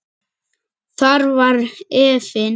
Þar var efinn.